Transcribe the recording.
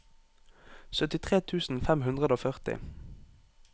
syttitre tusen fem hundre og førti